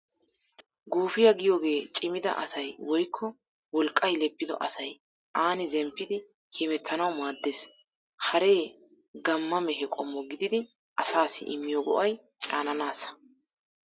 Guufiyaa giyoogee cimida asay woykko wolqqay leppido asay aani zemppidi hemettanawu maaddees. Haree gamma mehe qommo gididi asaassi immiyo go'ay caananaassa.